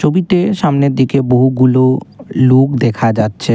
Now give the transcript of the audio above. সামনের দিকে বহুগুলো লোক দেখা যাচ্ছে।